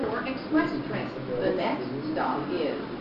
включи киношедевр в стиле мультфильмы